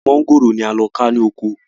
Èso mọ̀ngòrò ni a lọ ká ní oko